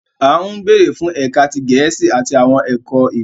"A nbere fún ẹka ti Gẹẹsi ati awọn ẹkọ ìwé